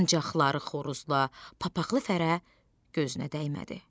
Ancaq Ları Xoruzla papaxlı Fərə gözünə dəymədi.